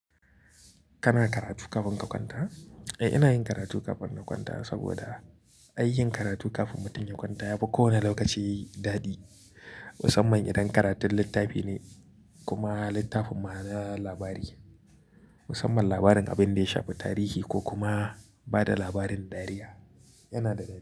Kana karatu kafin ka kwanta? Eh, ina yin karatu kafin na kwanta saboda aikin karatu kafin mutum ya kwanta yafi kowane lokaci dadi. Musamman idan karatun littafi ne kuma littafin ma na labari. Musamman labarin abin da ya shafi tarihi ko kuma ba da labarin dariya. Yanada dadi.